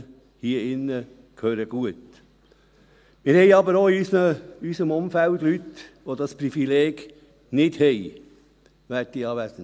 Wir haben in unserem Umfeld aber auch Leute, welche dieses Privileg nicht haben, werte Anwesende.